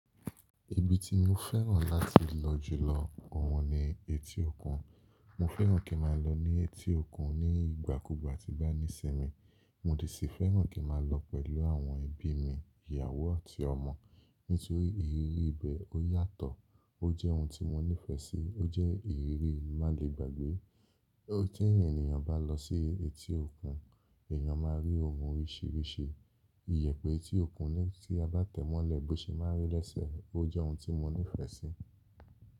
Ibi tí mo fẹ́ràn láti lọ jù lọ, òhun ni etí òkun. Mo fẹ́ràn kí n má a lọ ní etí òkun ní ìgbà kúùgbà tí bá ní sí mi. Mo de sì fẹ́ràn kí n má a lọ pẹ̀lú àwọn ẹbí mi, ìyàwó àti ọmọ. Nítorí ìrírí ibẹ̀ ó yàtọ̀, ó jẹ́ ohun tí mo nífẹ̀ẹ́ sí, ó jẹ́ ìrírí má lè gbàgbé. Bi tí ẹ́niyàn bá lọ sí etí òkun, èèyàn má a rí ohun oríṣìíríṣìí. Iyẹ̀ pé etí òkun ni tí a bá tẹ̀ mọ́lẹ̀ bó ṣe má a rí lésẹ̀, ó jẹ́ ohun tí mo nífẹ̀ẹ́ sí.